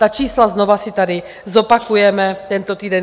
Ta čísla znovu si tady zopakujeme tento týden.